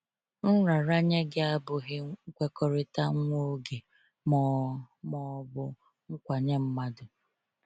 Nraranye gị abụghị nkwekọrịta nwa oge ma ọ ma ọ bụ nkwa nye mmadụ.